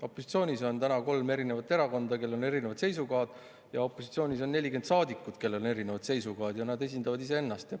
Opositsioonis on täna kolm erinevat erakonda, kellel on erinevad seisukohad, ja opositsioonis on 40 saadikut, kellel on erinevad seisukohad ja kes esindavad iseennast.